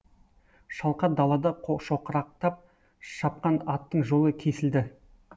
шалқар далада шоқырақтап шапқан аттың жолы кесілді